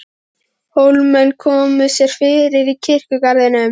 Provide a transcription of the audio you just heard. Hólamenn komu sér fyrir í kirkjugarðinum.